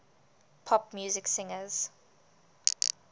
pop music singers